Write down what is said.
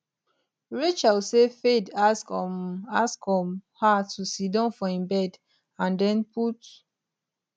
rachel say fayed ask um ask um her to sidon for im bed and den put